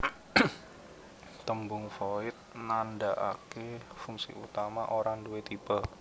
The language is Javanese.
Tembung Void nandhakaké fungsi utama ora duwé tipe